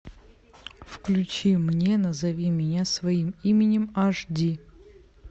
включи мне назови меня своим именем аш ди